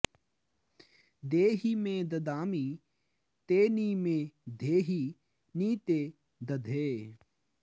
दे॒हि मे॒ ददा॑मि ते॒ नि मे॑ धेहि॒ नि ते॑ दधे